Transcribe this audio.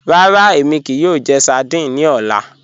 Ràrà, èmi kíí yòò jẹ̀ sárdínè ní ọlá.